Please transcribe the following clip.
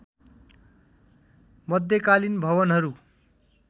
मध्यकालीन भवनहरू